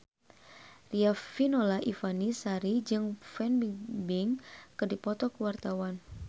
Riafinola Ifani Sari jeung Fan Bingbing keur dipoto ku wartawan